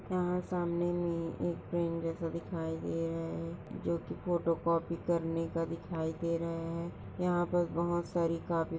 यहाँ सामने मे एक फ्रेम जैसा दिखाई दे रहा है जो की फोटोकॉपी करने का दिखाई दे रहा है यहाँ पर काफी सारी कॉपी --